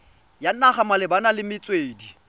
ya naga malebana le metswedi